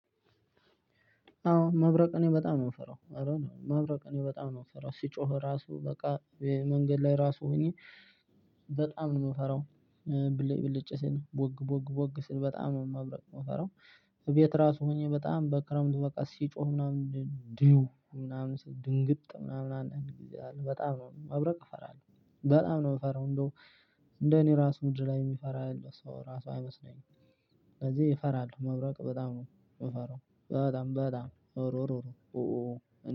አዎ መብረቅ እኔ በጣም ነው የምፈራው አረነው መብረቅ እኔ በጣም ነው የምፈራው ሲጮህ ራሱ በቃ መንገድ ላይ ራሱ ሆኜ በጣም ነው ምፈራው። ብልጭ ብልጭ ቦግ ቦግ ቦግ ሲል በጣም ነው መብረቅ የምፈራው። እቤት ራሱ ሆኜ በጣም በክረምቱ በቃ ሲጮህ ምናምን ድው ምናምን ድንግጥ ምናምን አንዳንድ ግዜ በጣም ነው መብረቅ ፈራለው በጣም ነው ምፈራው እንደው እንደኔ ራሱ ምድር ላይ ሚፈራ ያለ ሰው ራሱ አይመስለኝም። ለዚህ ፈራለው መብረቅ በጣም ነው ምፈራው በጣም በጣም እረረ ኡኡኡ።